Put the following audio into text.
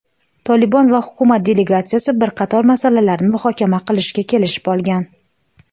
"Tolibon" va hukumat delegatsiyasi bir qator masalalarni muhokama qilishga kelishib olgan.